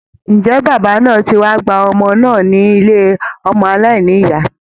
Ǹjẹ́ bàbá náà ti wá gba ọmọ náà ní ilé ọmọ aláìnìyá?